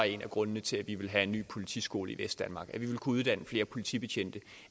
en af grundene til at vi ville have en ny politiskole i vestdanmark at vi ville kunne uddanne flere politibetjente